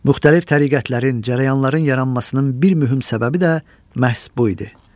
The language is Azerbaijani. Müxtəlif təriqətlərin, cərəyanların yaranmasının bir mühüm səbəbi də məhz bu idi.